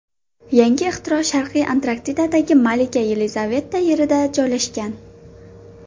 Yangi ixtiro Sharqiy Antarktidadagi Malika Yelizaveta Yerida joylashgan.